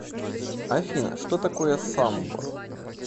афина что такое самбор